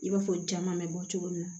I b'a fɔ jaman bɛ bɔ cogo min na